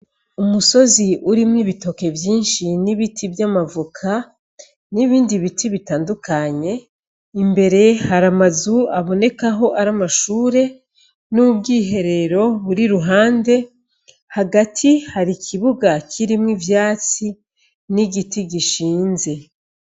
Umusozi urimwo ibitoke vyinshi n'ibiti vy'amavoka, n'ibindi biti bitandukanye, imbere hari amazu abonekaho ari amashure, n'ubwiherero buri iruhande, hagati hari ikibuga kirimwo ivyatsi n'igiti gishinze.